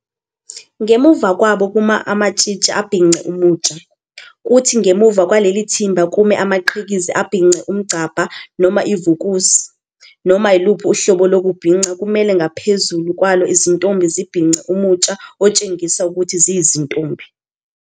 Ngemuva kwabo kuma amatshitshi abhince umutsha, kuthi ngemuva kwaleli thimba kume amaqhikiza abhince umgcabha noma ivukusi Noma yiluphi uhlobo lokubhinca kumele ngaphezulu kwalo izintombi zibhince umutsha otshengisa ukuthi ziyizintombi.